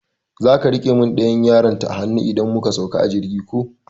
Zaka rike mun ɗayan yarinta a hanu idan muka sauka a jirgi ko?